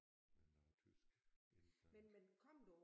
Med noget tysk ikke sandt